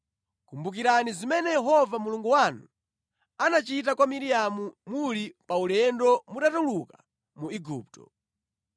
Kumbukirani zimene Yehova Mulungu wanu anachita kwa Miriamu muli paulendo mutatuluka mu Igupto.